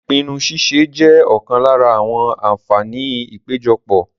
Ìpinnu ṣíṣe jẹ́ ọ̀kan lára àwọn àǹfààní ìpéjọpọ̀.